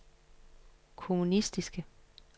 kommunistiske